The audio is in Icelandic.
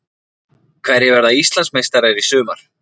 Hverjir verða Íslandsmeistarar í sumar?